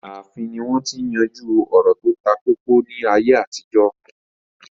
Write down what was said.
Ààfin ni wọ́n ti ń yanjú ọ̀rọ̀ tó takókó ní àtijọ́